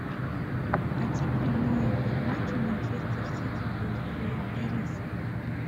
хотим прямой эфир матча манчестер сити против ирисок